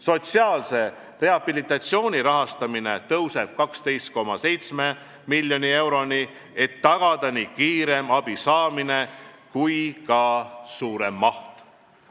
Sotsiaalse rehabilitatsiooni rahastamine kasvab 12,7 miljoni euroni, et tagada nii kiirem abi saamine kui ka abi suurem maht.